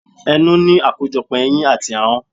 Ẹnu ní akojopo eyín àti ahọ́n.